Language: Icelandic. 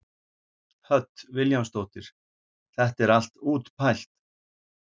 Hödd Vilhjálmsdóttir: Þetta er allt útpælt?